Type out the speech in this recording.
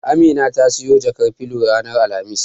Amina ta siyo jakar filo ranar Alhamis.